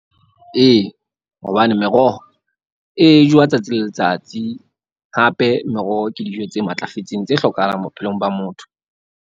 Ee, hobane meroho e jowa tsatsi le letsatsi hape, meroho ke dijo tse matlafetseng tse hlokahalang bophelong ba motho.